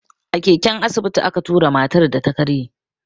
A keken asibiti a ka tura matar da ta karye.